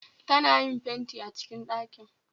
Ta na yin fenti a cikin ɗaki